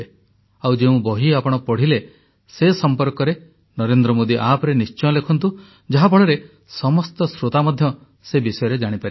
ଆଉ ଯେଉଁ ବହି ଆପଣ ପଢ଼ିଲେ ସେ ସମ୍ପର୍କରେ ନରେନ୍ଦ୍ର ମୋଦୀ ଆପ୍ ରେ ନିଶ୍ଚୟ ଲେଖନ୍ତୁ ଯାହାଫଳରେ ସମସ୍ତ ଶ୍ରୋତା ମଧ୍ୟ ସେ ବିଷୟରେ ଜାଣିପାରିବେ